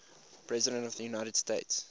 presidents of the united states